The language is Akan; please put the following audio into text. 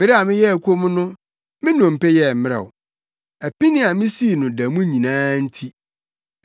Bere a meyɛɛ komm no, me nnompe yɛɛ mmrɛw, apini a misii no da mu nyinaa nti.